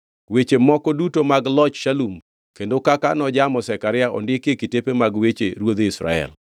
Weche moko duto mag loch Shalum, kendo kaka nojamo Zekaria, ondiki e kitepe mag weche ruodhi Israel.